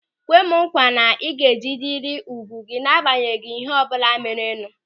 Kwe mụ nkwa na ịga ejiderịrị ùgwù gị n'agbanyeghị ịhe ọbụla merenụ!